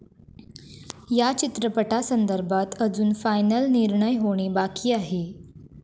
या चित्रपटासंदर्भात अजून फायनल निर्णय होणे बाकी आहे.